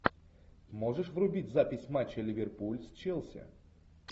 можешь врубить запись матча ливерпуль с челси